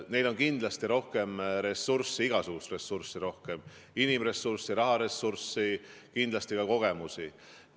Neil on kindlasti rohkem ressurssi, igasugust ressurssi – inimressurssi, raharessurssi – ja kindlasti ka kogemusi.